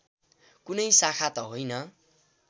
कुनै शाखा त होइन